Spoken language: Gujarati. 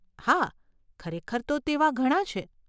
હા, ખરેખર તો તેવા ઘણાં છે.